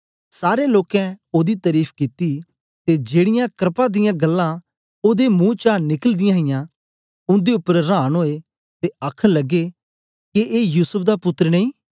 सारे लोकें ओदी तरीफ कित्ती ते जेड़ीयां क्रपा दियां गल्लां ओदे महू चा निकलदीयां हां उन्दे उपर रांन ओए ते आखन लगे के ए युसूफ दा पुत्तर नेई